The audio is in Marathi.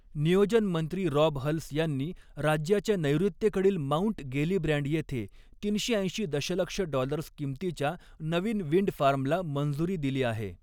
नियोजन मंत्री रॉब हल्स यांनी राज्याच्या नैऋत्येकडील माउंट गेलिब्रँड येथे तीनशे ऐंशी दशलक्ष डॉलर्स किंमतीच्या नवीन विंड फार्मला मंजुरी दिली आहे.